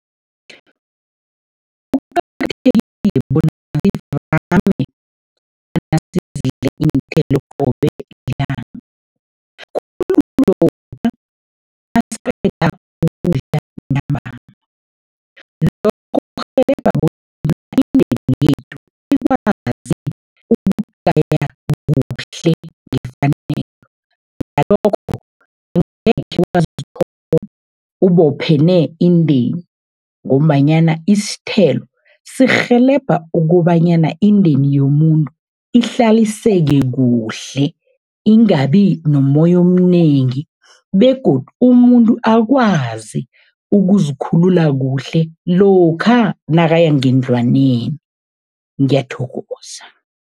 Kuqakathekile bona nasidle iinthelo qobe lilanga, khulu lokha nasiqeda ukudla . Lokho kukurhelebha bona indeni yethu ikwazi ukugaya kuhle ngefanelo, ngalokho angekhe wazithola ubophene indeni ngombanyana isithelo sirhelebha ukobanyana indeni yomuntu ihlaliseke kuhle, ingabi nomoya omnengi begodu umuntu akwazi ukuzikhulula kuhle lokha nakaya ngendlwaneni, ngiyathokoza.